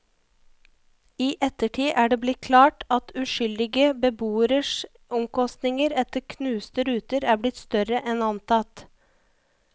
I ettertid er det blitt klart at uskyldige beboeres omkostninger etter knuste ruter er blitt større enn antatt.